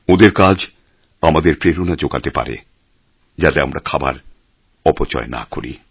ওঁদের কাজ আমাদের প্রেরণা জোগাতে পারে যাতে আমরা খাবার অপচয় না করি